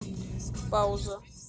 пауза